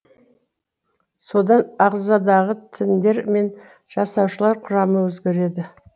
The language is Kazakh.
содан ағзадағы тіндер мен жасаушылар құрамы өзгереді